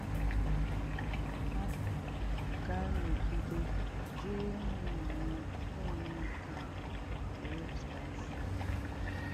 Ha Ha ga-anọgide jiri īhụ́nànya na-eme nke a ruo ọ̀tù āfọ́.